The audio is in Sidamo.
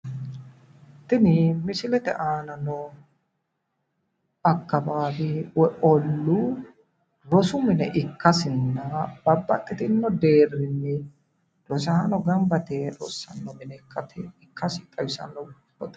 tini misilete aana noo akkawaawe woyi olluu rosu mine ikkasinna babbaxitino deerrinni rosaano gamba yite rossanno gede ikkasi xawisanno.